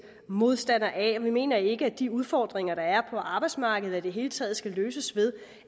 modstandere af vi mener ikke at de udfordringer der er på arbejdsmarkedet og i det hele taget skal løses ved